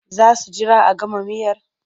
Za su jira a gama miyar?